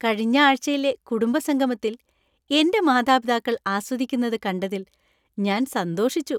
കഴിഞ്ഞ ആഴ്ചയിലെ കുടുംബസംഗമത്തിൽ എന്‍റെ മാതാപിതാക്കൾ ആസ്വദിക്കുന്നത് കണ്ടതിൽ ഞാൻ സന്തോഷിച്ചു.